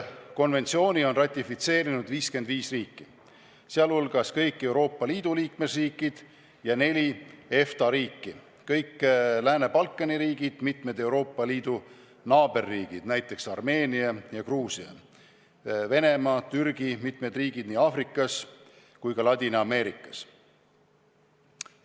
Konventsiooni on ratifitseerinud 55 riiki, sh kõik Euroopa Liidu liikmesriigid ja neli EFTA riiki, kõik Lääne-Balkani riigid, mitmed Euroopa Liidu naaberriigid, näiteks Armeenia, Gruusia, Venemaa ja Türgi, samuti mitmed riigid Aafrikas ja Ladina-Ameerikas.